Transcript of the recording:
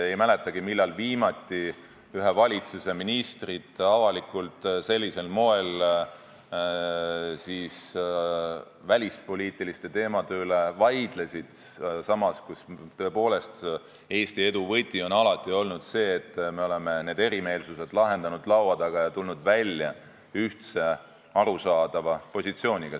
Ei mäletagi, millal viimati ühe valitsuse ministrid avalikult sellisel moel välispoliitiliste teemade üle vaidlesid, samas kui tõepoolest on Eesti edu võti alati olnud see, et me oleme erimeelsused lahendanud laua taga ning tulnud välja ühtse ja arusaadava positsiooniga.